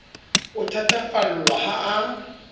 o a thatafallwa ha a